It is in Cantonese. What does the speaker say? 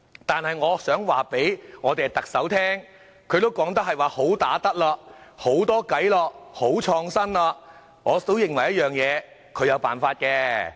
可是，我想告訴特首，她說自己"好打得"、"好多計"、"好創新"，我認為她總有辦法的。